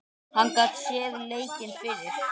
Hann gat séð leikinn fyrir.